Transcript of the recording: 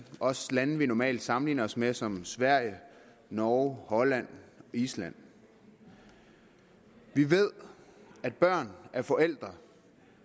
også lande vi normalt sammenligner os med som sverige norge holland og island vi ved at børn af forældre